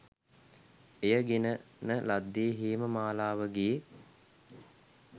එය ගෙන න ලද්දේ හේම මාලාවගේ